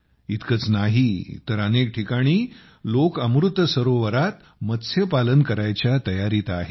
इतकेच नाही तर अनेक ठिकाणी लोक अमृत सरोवरात मत्स्यपालन करायच्या तयारीत आहेत